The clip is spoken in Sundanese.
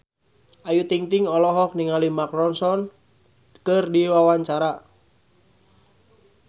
Ayu Ting-ting olohok ningali Mark Ronson keur diwawancara